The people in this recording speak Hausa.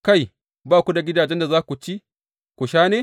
Kai, ba ku da gidajen da za ku ci ku sha ne?